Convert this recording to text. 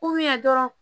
dɔrɔn